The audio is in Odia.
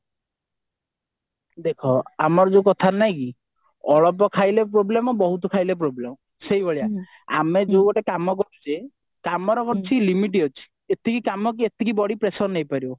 ଦେଖ ଆମର ଯୋଉ କଥାରେ ନାଇଁ କି ଅଳ୍ପ ଖାଇଲେ problem ବହୁତ ଖାଇଲେ problem ସେଇଭଳିଆ ଆମେ ଯୋଉ ଗୋଟେ କାମ କରୁଛେ କାମର କିଛି limit ଅଛି ଏତିକି କାମ କି ଏତିକି body pressure ନେଇପାରିବ